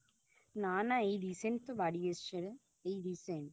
নানা এই Recent তো বাড়ি এসছে রে এই Recent